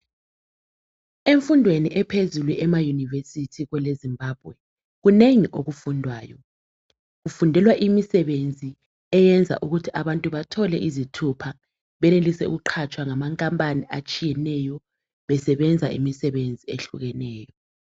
Emfundweni ephezulu ema university, kweleZimbabwe, kunengi okufundwayo. Kufundelwa imisebenzi, eyenza ukuthi abantu bathole izithupha. Benelise ukuqatshwa ngamakhampani atshiyeneyo. Besebenza imisebenzi ehlukeneyo.